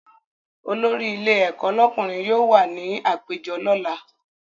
Olórí ilé ẹ̀kọ́ lọ́kùnrin yóò wà ní àpéjọ lọ́la